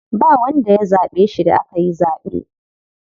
Ba wanda ya zaɓe shi da akayi zaɓe.